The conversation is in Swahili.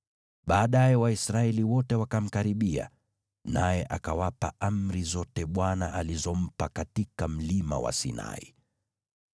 Baadaye Waisraeli wote wakamkaribia, naye akawapa amri zote Bwana alizompa katika Mlima wa Sinai.